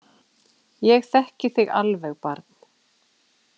Ég þekki þig alveg, barn.